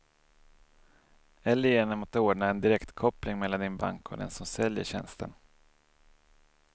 Eller genom att ordna en direktkoppling mellan din bank och den som säljer tjänsten.